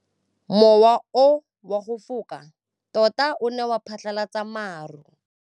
Mowa o wa go foka tota o ne wa phatlalatsa maru.